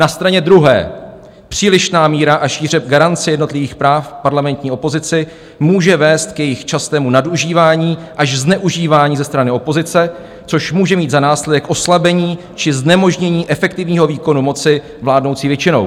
Na straně druhé přílišná míra a šíře garance jednotlivých práv parlamentní opozici může vést k jejich častému nadužívání až zneužívání ze strany opozice, což může mít za následek oslabení či znemožnění efektivního výkonu moci vládnoucí většinou.